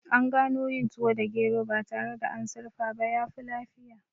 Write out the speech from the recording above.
An gano yin tuwo da gero ba tare da an sirfa ba yafi lafiya